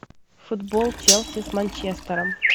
футбол челси с манчестером